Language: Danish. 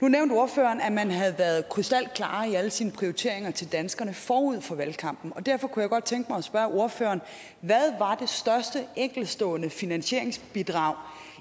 nu nævnte ordføreren at man havde været krystalklare i alle sine prioriteringer til danskerne forud for valgkampen og derfor kunne jeg godt tænke mig at spørge ordføreren hvad var det største enkeltstående finansieringsbidrag